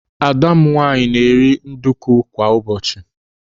Ada m nwaanyị na-eri nduku kwa ụbọchị.